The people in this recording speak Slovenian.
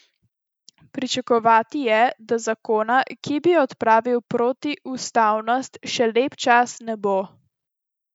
Pričakovati je, da zakona, ki bi odpravil protiustavnost, še lep čas ne bo.